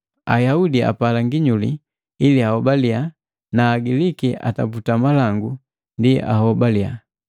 Ayaudi apala nginyuli ili ahobaliya na Agiliki ataputa malangu ndi ahobaliya.